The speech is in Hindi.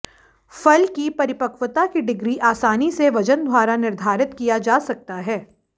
फल की परिपक्वता की डिग्री आसानी से वजन द्वारा निर्धारित किया जा सकता है